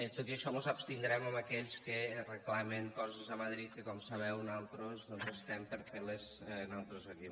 tot i això mos abstindrem en aquells que reclamen coses a madrid que com sabeu nosaltres doncs estem per fer les nosaltres aquí